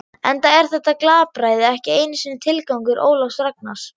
Enda er þetta glapræði ekki einu sinni tilgangur Ólafs Ragnars.